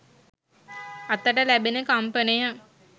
අතට ලැබෙන කම්පනය